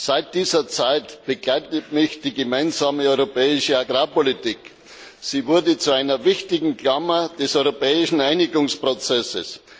Seit dieser Zeit begleitet mich die Gemeinsame Europäische Agrarpolitik. Sie wurde zu einer wichtigen Klammer des europäischen Einigungsprozesses.